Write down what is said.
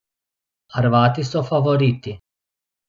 Hrvati so favoriti.